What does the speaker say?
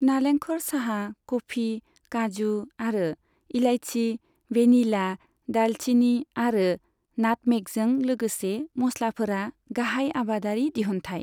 नालेंखर, चाहा, कफि, काजु आरो इलायची, भेनिला, दालचिनी आरो नाटमेगजों लोगोसे मस्लाफोरा गाहाय आबादारि दिहुन्थाय।